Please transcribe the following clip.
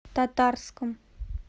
татарском